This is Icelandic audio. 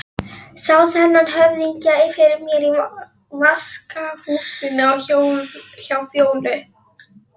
Sá þennan höfðingja fyrir mér í vaskahúsinu hjá Fjólu.